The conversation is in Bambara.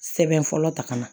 Sɛbɛn fɔlɔ ta ka na